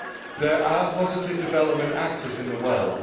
There are positive development actors in the world.